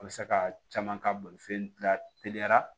A bɛ se ka caman ka bolifɛn dilan te teliya